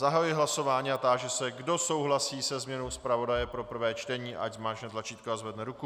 Zahajuji hlasování a táži se, kdo souhlasí se změnou zpravodaje pro prvé čtení, ať zmáčkne tlačítko a zvedne ruku.